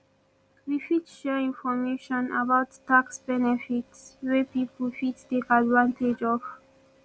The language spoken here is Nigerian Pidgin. we fit share information about tax benefits wey people fit take advantage of